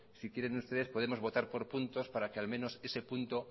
si quieren ustedes podemos votar por puntos para que al menos ese punto